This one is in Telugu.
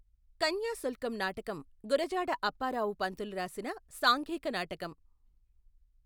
కన్యాశుల్కం నాటకం గురజాడ అప్పారావు పంతులు రాసిన సాంఘిక నాటకం.